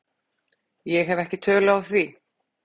Ég hef ekki tölu á því.